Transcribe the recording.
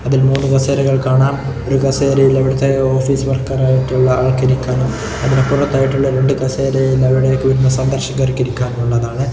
അതിൽ മൂന്നു കസേരകൾ കാണാം ഈ കസേരയിൽ അവിടുത്തെ ഓഫീസ് വർക്കർ ആയിട്ടുള്ള ആൾക്ക് ഇരിക്കാനും അതിന് പുറത്തായിട്ട് രണ്ട് കസേരയിൽ അവിടെ ഇരിക്കുന്ന സന്ദർശകർക്കിരിക്കാനുള്ളതായിട്ടാണ്.